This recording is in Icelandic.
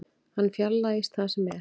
Hann fjarlægist það sem er.